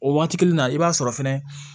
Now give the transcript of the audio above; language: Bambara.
O waati kelen na i b'a sɔrɔ fɛnɛ